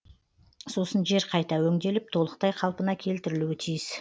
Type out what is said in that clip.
сосын жер қайта өңделіп толықтай қалыпна келтірілуі тиіс